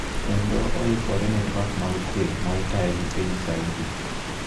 kendo oikore ne twak mag kwe ma itayo gi piny Saudi.